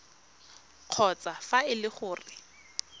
kgotsa fa e le gore